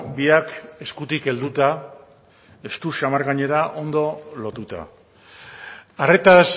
biak eskutik helduta estu samar gainera ondo lotuta arretaz